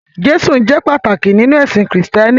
Jésù jẹ́ pàtàkì nínú ẹ̀sìn Kristẹni.